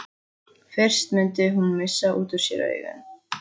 Fyrst mundi hún missa út úr sér augun.